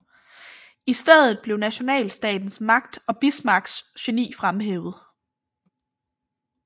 I stedet blev nationalstatens magt og Bismarcks geni fremhævet